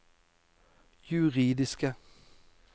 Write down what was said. juridiske